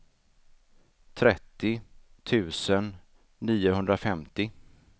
trettio tusen niohundrafemtio